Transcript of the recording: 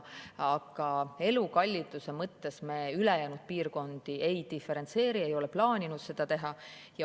Aga elukalliduse mõttes me ülejäänud piirkondi ei diferentseeri ega ole plaaninud seda teha.